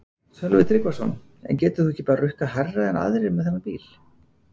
Sölvi Tryggvason: En getur þú ekki rukkað hærra en aðrir með þennan bíl?